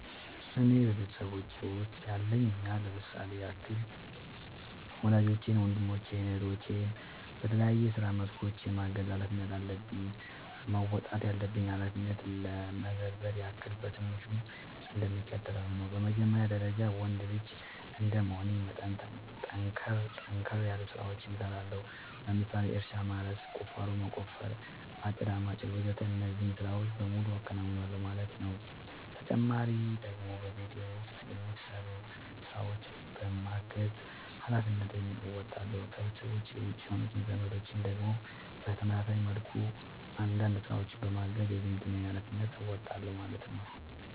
እኔ በቤተሰቦቼ ውስጥ ያለኝ ሚና ለምሳሌ ያክል ወላጆቼን ወንድሞቼን እህቶቼን በተለያዩ የስራ መስኮች የማገዝ ኃላፊነት አለብኝ። መወጣት ያለብኝን ኃላፊነት ለመዘርዘር ያክል በትንሹ እንደሚከተለው ነው በመጀመሪያ ደረጃ ወንድ ልጅ እንደመሆኔ መጠን ጠንከር ጠንከር ያሉ ስራዎችን እሰራለሁ ለምሳሌ እርሻ ማረስ፣ ቁፋሮ መቆፈር፣ አጨዳ ማጨድ ወዘተ እነዚህን ስራዎች በሙሉ አከናውናል ማለት ነው ተጨማሪ ደግሞ በቤት ውስጥ የሚሰሩ ስራዎችን በማገዝ ሃላፊነትን እንወጣለሁ። ከቤተሰቤ ውጪ የሆኑት ዘመዶቼን ደግሞ በተመሳሳይ መልኩ አንዳንድ ስራዎችን በማገዝ የዝምድናዬን ሀላፊነት እወጣለሁ ማለት ነው